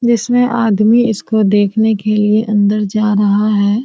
जिसमे आदमी इसको देकने के लिए अंदर जा रहा है।